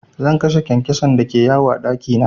Zan kashe kyankyason da ke yawo a ɗaki na.